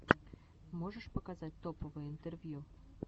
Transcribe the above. можешь показать топовые интервью